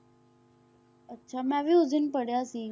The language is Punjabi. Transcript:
ਅੱਛਾ ਮੈਂ ਵੀ ਉਸ ਦਿਨ ਪੜ੍ਹਿਆ ਸੀ।